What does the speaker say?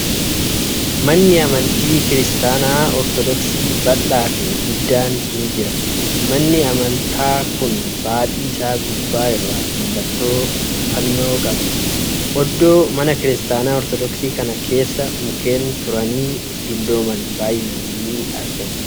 Manni amantii kiristaanaa Ortoodooksii bal'aa fi guddaan ni jira. Manni amantaa kun baaxii isaa gubbaa irraa mallattoo fannoo qaba. Oddoo mana kiristaanaa Ortoodooksii kana keessa mukkeen turanii dullooman. baay'inaan ni argamu.